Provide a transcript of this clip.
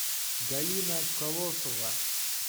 галина колосова